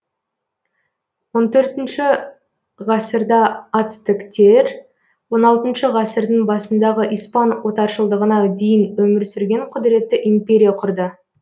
он төртінші ғасырда ацтектер он алтыншы ғасырдың басындағы испан отаршылдығына дейін өмір сүрген құдіретті империя құрды